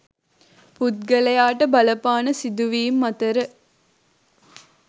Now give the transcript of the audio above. පුද්ගලයාට බලපාන සිදුවීම් අතර